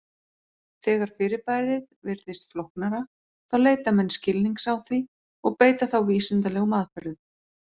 Þegar fyrirbærið virðist flóknara þá leita menn skilnings á því og beita þá vísindalegum aðferðum.